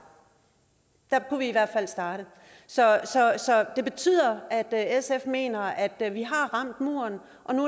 der kunne vi i hvert fald starte så det betyder at sf mener at da vi har ramt muren